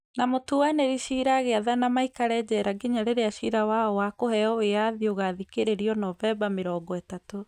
Na mũtuanĩri cira agĩathana maikare njera nginya rĩrĩa cira wao wa kũheo wĩyathi ũgaathikĩrĩria Novemba mĩrongo ĩtatũ.